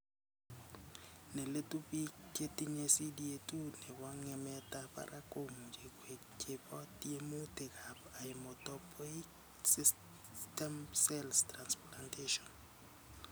Neletu, biik chetinye CDA 2 nebo ng'emetab barak komuch koik chebo tiemutikab hematopoietic stem cell transplantation .